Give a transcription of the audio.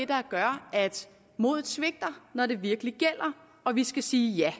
der gør at modet svigter når det virkelig gælder og vi skal sige ja